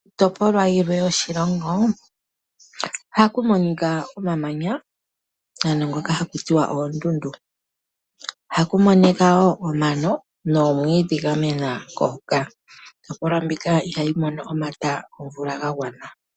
Iitopolwa yilwe yoshilongo ohaku monika omamanya ano ngoka hakutiwa oondundu omano noomwiidhi dha mena hoka. Iitopolwa mbika ihayi mono omata gomvula ga gwana.